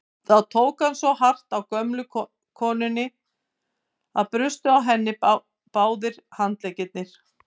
Þá tók hann svo hart á gömlu konunni að brustu á henni báðir handleggir.